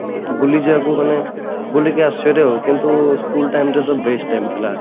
ବୁଲିଯିବା କୋଉ ଦିନ ବୁଲିକି ଆସୁଛୁ କିନ୍ତୁ school time ଟା best time ଥିଲା